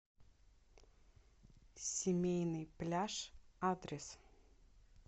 семейный пляж адрес